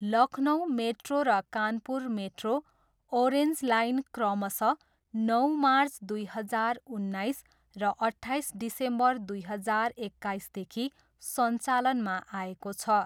Lucknow Metro र Kanpur Metro, Orange Line क्रमशः नौ मार्च दुई हजार उन्नाइस र अट्ठाइस डिसेम्बर दुई हजार एक्काइसदेखि सञ्चालनमा आएको छ।